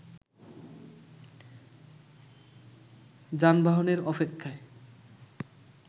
যানবাহনের অপেক্ষায়